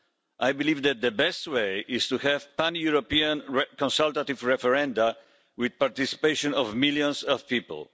I believe that the best way is to have pan European consultative referenda with the participation of millions of people.